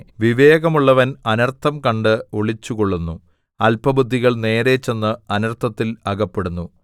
വിവേകമുള്ളവൻ അനർത്ഥം കണ്ട് ഒളിച്ചുകൊള്ളുന്നു അല്പബുദ്ധികൾ നേരെ ചെന്ന് അനർത്ഥത്തിൽ അകപ്പെടുന്നു